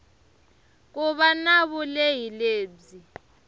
ku va na vulehi lebyi